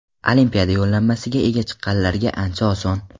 Olimpiada yo‘llanmasiga ega chiqqanlarga ancha oson.